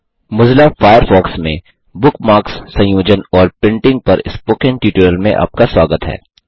Mozilla Firefox में bookmarks संयोजन और प्रिंटिंग पर स्पोकन ट्यूटोरियल में आपका स्वागत है